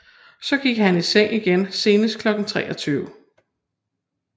Så gik han i seng igen senest kl 23